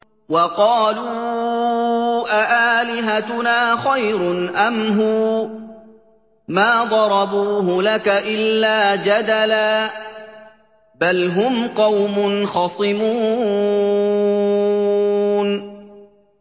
وَقَالُوا أَآلِهَتُنَا خَيْرٌ أَمْ هُوَ ۚ مَا ضَرَبُوهُ لَكَ إِلَّا جَدَلًا ۚ بَلْ هُمْ قَوْمٌ خَصِمُونَ